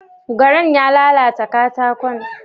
Garan ya lalata katakon?